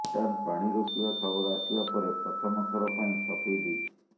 ଭୁଟାନ ପାଣି ରୋକିବା ଖବର ଆସିବା ପରେ ପ୍ରଥମ ଥର ପାଇଁ ସଫେଇ ଦେଇଛି